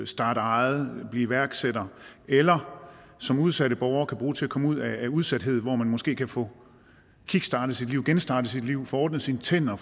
starte eget blive iværksætter eller som udsatte borgere kan bruge til at komme ud af udsathed hvor man måske kan få kickstartet sit liv genstartet sit liv få ordnet sine tænder